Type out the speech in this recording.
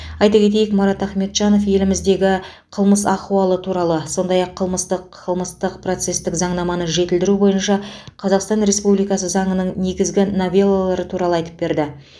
айта кетейік марат ахметжанов еліміздегі қылмыс ахуалы туралы сондай ақ қылмыстық қылмыстық процестік заңнаманы жетілдіру бойынша қазақстан республикасы заңының негізгі новеллалары туралы айтып берді